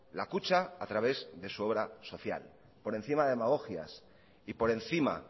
la kutxa a través de su obra social por encima de demagogias y por encima